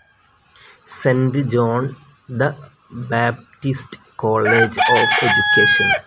cent John the Baptist college of education